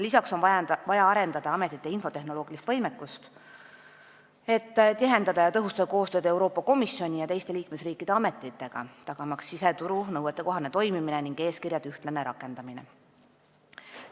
Lisaks on vaja arendada ametite infotehnoloogilist võimekust, et tihendada ja tõhustada koostööd Euroopa Komisjoni ja teiste liikmesriikide ametitega, tagamaks siseturu nõuetekohane toimimine ning eeskirjade ühtne rakendamine.